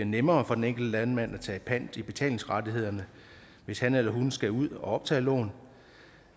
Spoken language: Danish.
nemmere for den enkelte landmand at tage pant i betalingsrettighederne hvis han eller hun skal ud at optage lån